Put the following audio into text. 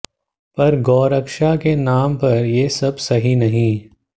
पर गौरक्षा के नाम पर ये सब सही नही